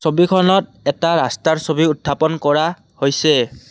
ছবিখনত এটা ৰাস্তাৰ ছবি উৎথাপন কৰা হৈছে।